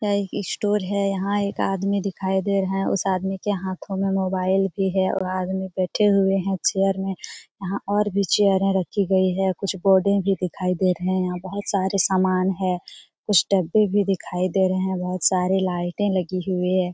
यह एक इस स्टोर है। यहाँ एक आदमी दिखाई दे रहा है। उस आदमी के हाथों में मोबाइल भी है। वह आदमी बैठे हुए है चेयर में। यहाँ और भी चेयरें रखी गई है। कुछ पौधे भी दिखाई दे रहे हैं। यहाँ बोहोत सारे सामान है। कुछ डब्बें भी दिखाई दे रहे हैं। बोहोत सारे लाइटें लगी हुई है।